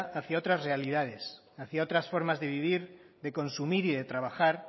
hacia otras realidades hacia otras formas de vivir de consumir y de trabajar